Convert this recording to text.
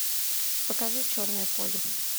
покажи черное поле